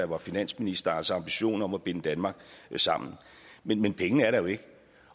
var finansminister altså ambitionen om at binde danmark sammen men men pengene er der jo ikke